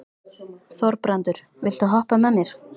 Þorbrandur, viltu hoppa með mér?